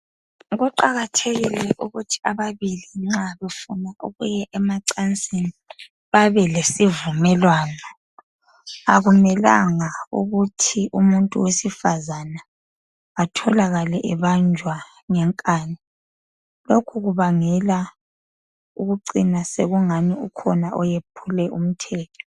Kuqakathekile ukuthi abantu ababili nxa befuna ukuya emacansini babe lesivumelwano. Akumelanga ukuthi umuntu wesifazana atholakale ebanjwa ngenkani, lokhu kubangela ukucina sekungani ukhona oyephule umthetho.